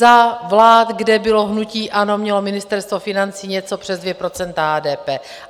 Za vlád, kde bylo hnutí ANO, mělo Ministerstvo financí něco přes 2 % HDP.